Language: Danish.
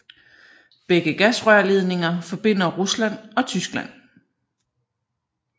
Begge gasrørledninger forbinder Rusland og Tyskland